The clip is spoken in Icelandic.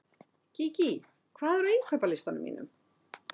Gígí, hvað er á innkaupalistanum mínum?